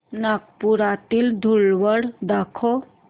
नागपुरातील धूलवड दाखव